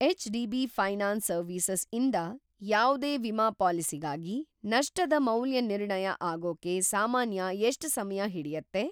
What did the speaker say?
HDB. Finance services ಇಂದ ಯಾವ್ದೇ ವಿಮಾ ಪಾಲಿಸಿಗಾಗಿ ನಷ್ಟದ ಮೌಲ್ಯನಿರ್ಣಯ ಆಗೋಕೆ ಸಾಮಾನ್ಯ ಎಷ್ಟ್‌ ಸಮಯ ಹಿಡಿಯತ್ತೆ?